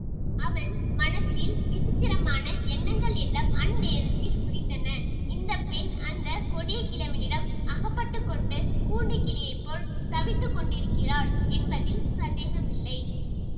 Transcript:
அவன் மனத்தில் விசித்திரமான எண்ணங்கள் எல்லாம் அந்நேரத்தில் உதித்தன இந்த பெண் அந்த கொடிய கிழவனிடம் அகப்பட்டு கொண்டு கூண்டுக் கிளியைப்போல் தவித்துக் கொண்டிருக்கிறாள் என்பதில் சந்தேகமில்லை